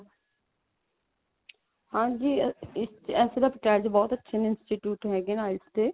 ਹਾਂਜੀ ਵੈਸੇ ਤਾਂ ਪਟਿਆਲੇ ਚ ਬਹੁਤ ਅੱਛੇ ਨੇ institute ਹੈਗੇ ਨੇ IELTS ਦੇ